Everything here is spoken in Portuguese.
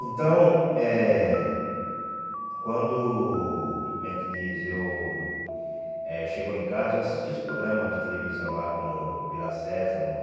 Então eh, quando, como é que diz, eu eh cheguei em casa, eu assisti os programas de televisão lá, como Vila Sésamo, né?